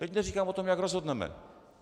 Teď neříkám o tom, jak rozhodneme.